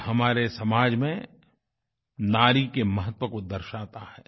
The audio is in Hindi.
यह हमारे समाज में नारी के महत्व को दर्शाता है